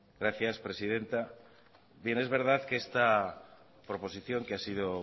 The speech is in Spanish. gracias presidenta es verdad que esta proposición que ha sido